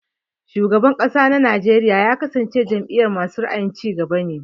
Shugaban kasa na Najeriya ya kasance a jam'iyar masu ra'ayin cigaba.